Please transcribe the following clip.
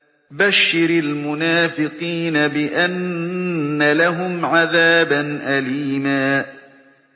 بَشِّرِ الْمُنَافِقِينَ بِأَنَّ لَهُمْ عَذَابًا أَلِيمًا